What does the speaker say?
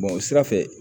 o sira fɛ